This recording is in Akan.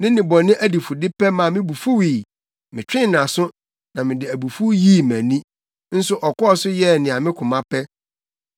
Ne nnebɔne adifudepɛ maa me bo fuwii; metwee nʼaso, na mede abufuw yii mʼani, nso ɔkɔɔ so yɛɛ nea ne koma pɛ.